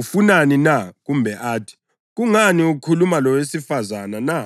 “Ufunani na?” kumbe athi, “Kungani ukhuluma lowesifazane na?”